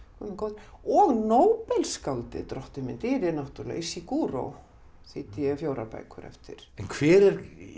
og Nóbelsskáldið drottinn minn dýri náttúrulega Ishiguro þýddi ég fjórar bækur eftir en hver er